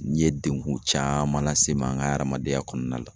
N ye degun caman lase n ma n ka adamadenya kɔnɔna la